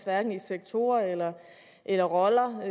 hverken i sektorer eller eller roller